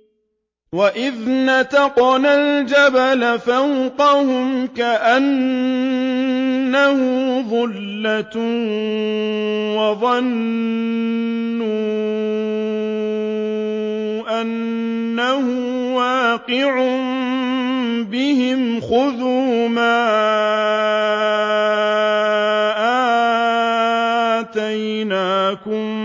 ۞ وَإِذْ نَتَقْنَا الْجَبَلَ فَوْقَهُمْ كَأَنَّهُ ظُلَّةٌ وَظَنُّوا أَنَّهُ وَاقِعٌ بِهِمْ خُذُوا مَا آتَيْنَاكُم